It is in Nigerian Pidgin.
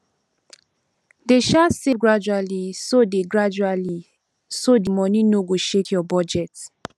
dey um save gradually so the gradually so the money no go shake your budget